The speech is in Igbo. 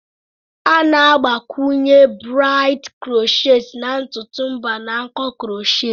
A na-agbakwunye braids crochet na ntutu mba na nko crochet.